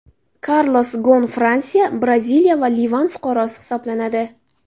Karlos Gon Fransiya, Braziliya va Livan fuqarosi hisoblanadi.